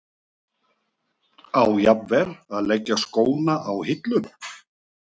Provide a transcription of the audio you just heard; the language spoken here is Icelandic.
Á jafnvel að leggja skóna á hilluna?